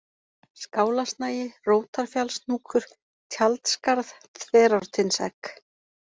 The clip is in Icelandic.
Skálasnagi, Rótarfjallshnúkur, Tjaldskarð, Þverártindsegg